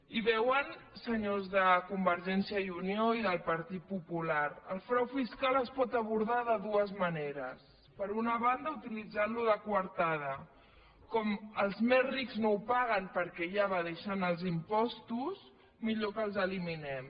i veuen senyors de convergència i unió i del partit popular el frau fiscal es pot abordar de dues maneres per una banda utilitzantlo de coartada com els més rics no ho paguen perquè ja evadeixen els impostos millor que els eliminem